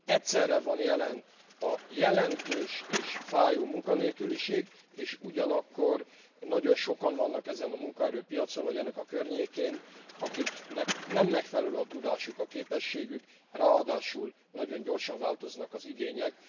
Egyszerre van jelen a jelentős és fájó munkanélküliség, és ugyanakkor nagyon sokan vannak ezen a munkaerőpiacon vagy ennek a környékén, akiknek nem megfelelő a tudásuk, képességük, ráadásul nagyon gyorsan változnak az igények.